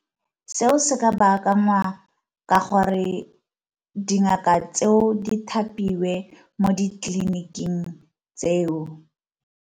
Seo se ka bakangwa ka gore dingaka tseo di thapiwe mo ditleliniking tseo.